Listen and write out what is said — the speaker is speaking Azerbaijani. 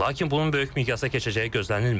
Lakin bunun böyük miqsa keçəcəyi gözlənilmir.